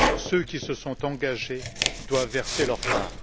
Ceux qui se sont engagés doivent verser leur part.